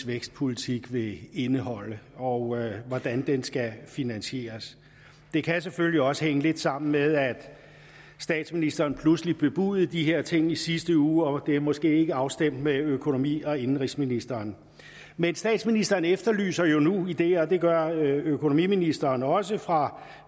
vækstpolitik vil indeholde og hvordan den skal finansieres det kan selvfølgelig også hænge lidt sammen med at statsministeren pludselig bebudede de her ting i sidste uge og at det måske ikke er afstemt med økonomi og indenrigsministeren men statsministeren efterlyser jo nu ideer og det gør økonomiministeren også fra